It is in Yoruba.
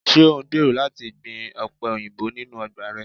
Ṣe o ngbero lati gbin ope oyinbo ninu ọgba rẹ?